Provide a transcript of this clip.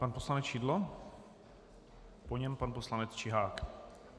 Pan poslanec Šidlo, po něm pan poslanec Čihák.